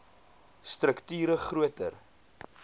strukt ure groter